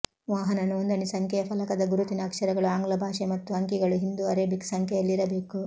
ವಾಹನ ನೋಂದಣಿ ಸಂಖ್ಯೆಯ ಫಲಕದ ಗುರುತಿನ ಅಕ್ಷರಗಳು ಆಂಗ್ಲ ಭಾಷೆ ಮತ್ತು ಅಂಕಿಗಳು ಹಿಂದೂ ಅರೇಬಿಕ್ ಸಂಖ್ಯೆಯಲ್ಲಿರಬೇಕು